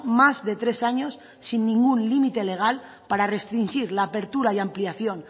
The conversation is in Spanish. más de tres años sin ningún límite legal para restringir la apertura y ampliación